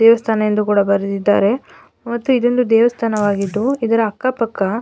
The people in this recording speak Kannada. ದೇವಸ್ಥಾನ ಎಂದು ಕೂಡ ಬರೆದಿದ್ದಾರೆ ಮತ್ತೆ ದೇವಸ್ಥಾನವಾಗಿದ್ದು ಇದರ ಅಕ್ಕ ಪಕ್ಕ --